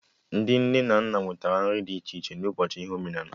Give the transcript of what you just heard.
Ndị nne na nna wetara nri dị iche ịchị na ụbọchị ihe omenala